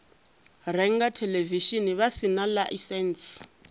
renga theḽevishini vha sina ḽaisentsi